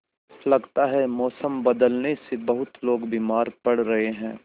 लगता है मौसम बदलने से बहुत लोग बीमार पड़ रहे हैं